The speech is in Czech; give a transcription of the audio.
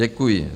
Děkuji.